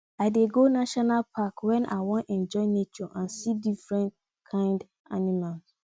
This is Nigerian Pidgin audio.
i dey go national park wen i wan enjoy nature and see different kain animals